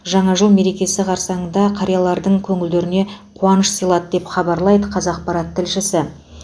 жаңа жыл мерекесі қарсаңында қариялардың көңілдеріне қуаныш сыйлады деп хабарлайды қазақпарат тілшісі